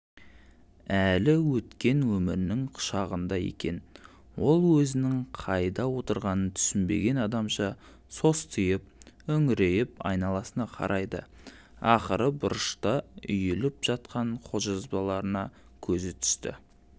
әлі өткен өмірінің құшағында екен ол өзінің қайда отырғанын түсінбеген адамша состиып үңірейіп айналасына қарайды ақыры бұрышта үйіліп жатқан қолжазбаларына көзі түсті